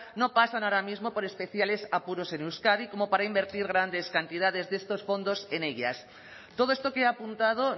no pasan ahora mismo por especiales apuros en euskadi como para invertir grandes cantidades de estos fondos en ellas todo esto que ha apuntado